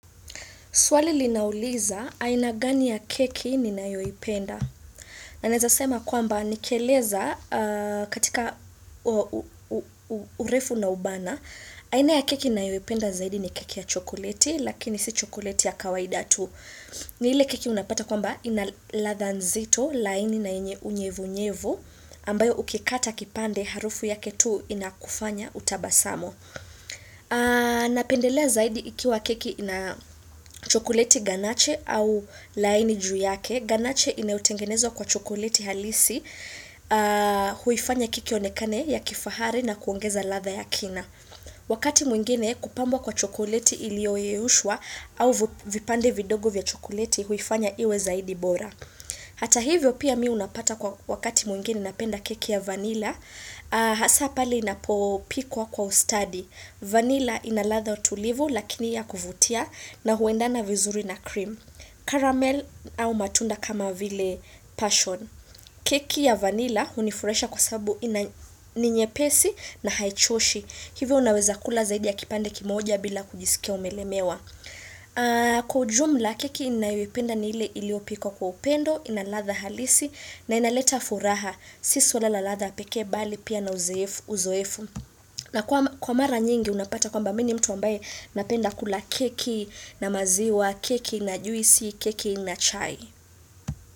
Swali linauliza, aina gani ya keki ninayoipenda. Na naeza sema kwamba, nikieleza katika urefu na ubana, aina ya keki ninayoipenda zaidi ni keki ya chokoleti, lakini si chokoleti ya kawaida tu. Ni ile keki unapata kwamba, ina ladha nzito, laini na yenye unyevunyevu, ambayo ukikata kipande harufu yake tu inakufanya utabasamu. Napendelea zaidi ikiwa keki na chokoleti ganache au laini ju yake Ganache inayotengenezwa kwa chokoleti halisi huifanya keki ionekane ya kifahari na kuongeza ladha ya kina Wakati mwingine kupambwa kwa chokoleti ilioyeushwa au vipande vidogo vya chokoleti huifanya iwe zaidi bora Hata hivyo pia mi unapata kwa wakati mwingine napenda keki ya vanilla Hasa pale inapopikwa kwa ustadhi vanilla ina ladha utulivu lakini ya kuvutia na huendana vizuri na cream Caramel au matunda kama vile passion keki ya vanilla hunifurahisha kwa sababu ina ni nyepesi na haichoshi Hivyo unaweza kula zaidi ya kipande kimoja bila kujisikia umelemewa Kwa ujumla keki ninayoipenda ni ile iliopikwa kwa upendo ina ladha halisi na inaleta furaha sisi swala la ladha pekee bali pia na uzoefu uzoefu na kwa kwa mara nyingi unapata kwamba mi ni mtu ambaye napenda kula keki na maziwa keki na juisi, keki na chai.